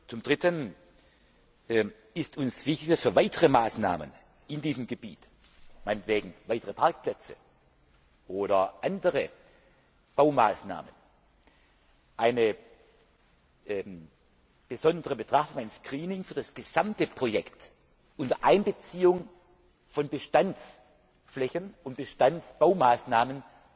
Zum dritten ist uns wichtig, dass für weitere Maßnahmen in diesem Gebiet, meinetwegen für weitere Parkplätze oder andere Baumaßnahmen ein besonderes Screening für das gesamte Projekt unter Einbeziehung von Bestandsflächen und Bestandsbaumaßnahmen